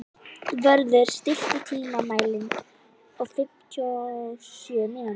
Vörður, stilltu tímamælinn á fimmtíu og sjö mínútur.